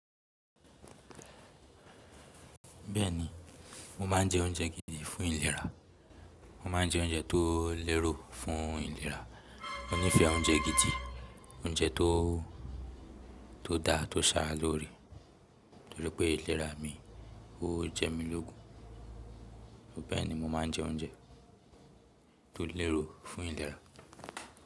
Bẹ́ẹ̀ni, mo máa ń jẹ oúnjẹ gidi fún ìlera. Mo máa ń jẹ oúnjẹ tó lérò fún ìlera. Mo nífẹ̀ẹ́ oúnjẹ gidi, oúnjẹ tó, tó da tó sá lórí. Toripẹ́ ìlera mi, ó jẹ mí lógun. Bẹ́ẹ̀ni mo máa ń jẹ oúnjẹ tó lérò fún ìlera.